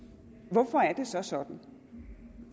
hvorfor er det så sådan